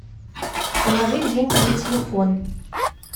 положить деньги на телефон